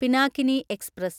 Pinakini express